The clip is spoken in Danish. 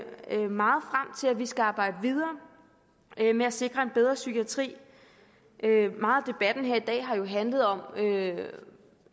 vi skal arbejde videre med at sikre en bedre psykiatri meget af debatten her i dag har jo handlet om